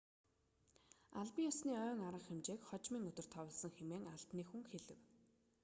албан ёсны ойн арга хэмжээг хожмын өдөр товлосон хэмээн албаны хүн хэлэв